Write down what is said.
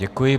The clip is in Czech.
Děkuji.